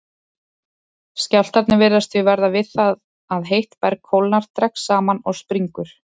Skjálftarnir virðast því verða við það að heitt berg kólnar, dregst saman og springur.